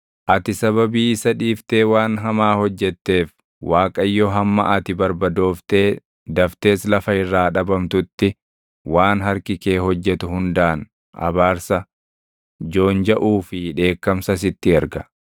Ati sababii isa dhiiftee waan hamaa hojjetteef Waaqayyo hamma ati barbadooftee daftees lafa irraa dhabamtutti waan harki kee hojjetu hundaan abaarsa, joonjaʼuu fi dheekkamsa sitti erga.